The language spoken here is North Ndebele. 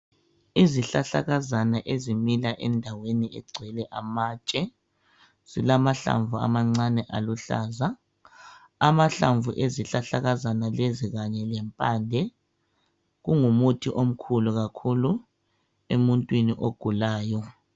Izihlahlakazana ezimila endaweni egcwele amatshe zilamahlamvu amancane aluhlaza amahlamvu ezihlahlakazana lezi kanye lempande kungumuthi omkhulu kakhulu emuntwini ogulayo